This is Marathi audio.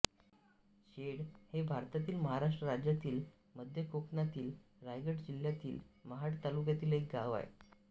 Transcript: शेळ हे भारतातील महाराष्ट्र राज्यातील मध्य कोकणातील रायगड जिल्ह्यातील महाड तालुक्यातील एक गाव आहे